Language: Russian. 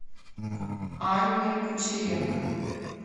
анне кучеренко